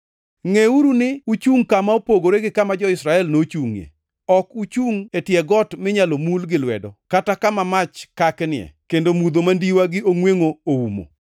Ngʼeuru ni uchungʼ kama opogore gi kama jo-Israel nochungʼie. Ok uchungʼ e tie got minyalo mul gi lwedo kata kama mach kaknie kendo mudho mandiwa gi ongʼwengʼo oumo,